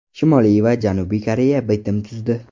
Shimoliy va Janubiy Koreya bitim tuzdi.